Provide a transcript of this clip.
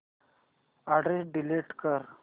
address delete कर